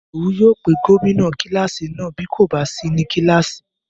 Ìdòwú yóò pe gómìnà kílásì náà bí kò bá sí ní kílásì